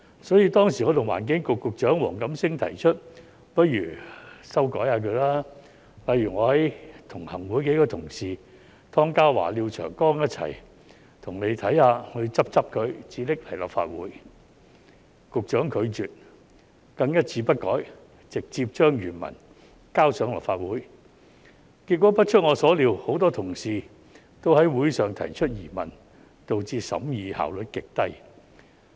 所以，當時我與環境局局長黃錦星提出不如修改它，例如我和行會數位同事湯家驊議員及廖長江議員一起幫當局看看、修改後才提交立法會，但局長卻拒絕，更一字不改直接將原文提交立法會，結果不出我所料，很多同事都於會上提出疑問，導致審議效率極低。